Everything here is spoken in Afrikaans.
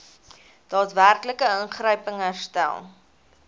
daadwerklike ingryping herstel